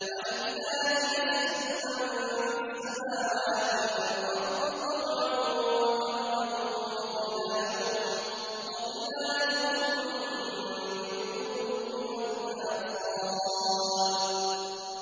وَلِلَّهِ يَسْجُدُ مَن فِي السَّمَاوَاتِ وَالْأَرْضِ طَوْعًا وَكَرْهًا وَظِلَالُهُم بِالْغُدُوِّ وَالْآصَالِ ۩